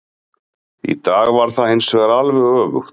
Í dag var það hinsvegar alveg öfugt.